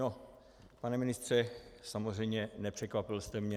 No, pane ministře, samozřejmě nepřekvapil jste mě.